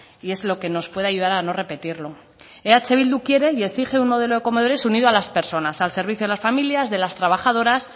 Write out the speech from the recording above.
y es lo que nos puede ayudar a no repetirlo eh bildu quiere y exige un modelo de comedores unido a las personas al servicio de las familias de las trabajadoras